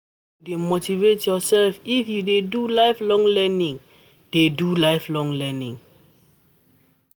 Na you go dey motivate yoursef if you dey do lifelong learning. do lifelong learning.